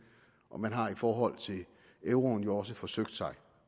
og man har i forhold til euroen jo også forsøgt sig